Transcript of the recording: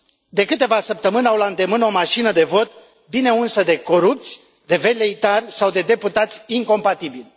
De câteva săptămâni au la îndemână o mașină de vot, bine unsă de corupți, de veleitari sau de deputați incompatibili.